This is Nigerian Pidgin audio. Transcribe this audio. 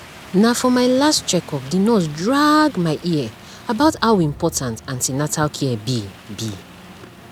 na for my last check up the nurse drag my ear about how important an ten atal care be be